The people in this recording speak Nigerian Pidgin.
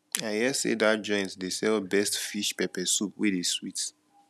i hear say dat joint dey sell best fish pepper soup wey dey sweet